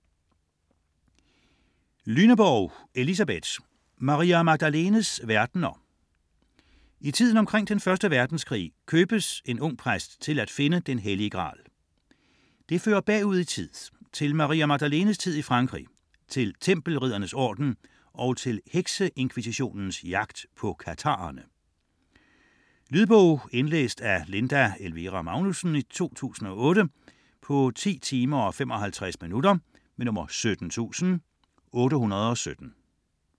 Lyneborg, Elisabeth: Maria Magdalenes verdener I tiden omkring Den første Verdenskrig købes en ung præst til at finde Den hellige Gral. Det fører bagud i tid: til Maria Magdalenes tid i Frankrig, til tempelriddernes orden og til hekseinkvisitionens jagt på katharerne. Lydbog 17817 Indlæst af Linda Elvira Magnussen, 2008. Spilletid: 10 timer, 55 minutter.